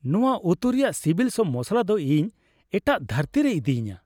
ᱱᱚᱶᱟ ᱩᱛᱩ ᱨᱮᱭᱟᱜ ᱥᱤᱵᱤᱞ ᱥᱚ ᱢᱚᱥᱞᱟ ᱫᱚ ᱤᱧ ᱮᱴᱟᱜ ᱫᱷᱟᱹᱨᱛᱤ ᱨᱮᱭ ᱤᱫᱤᱧᱟ ᱾